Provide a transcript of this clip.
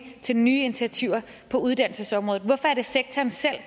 til nye initiativer på uddannelsesområdet hvorfor er det sektoren selv